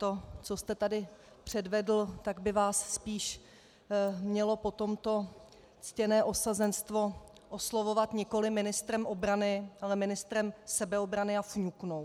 To, co jste tady předvedl, tak by vás spíš mělo po tomto ctěné osazenstvo oslovovat nikoli ministrem obrany, ale ministrem sebeobrany a fňuknou.